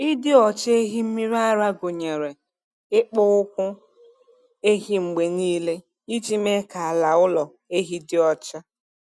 Ịdị ọcha ehi mmiri ara gụnyere ịkpụ ụkwụ ehi mgbe niile iji mee ka ala ụlọ ehi dị ọcha.